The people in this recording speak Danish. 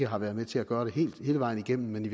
har været med til at gøre det hele vejen igennem men i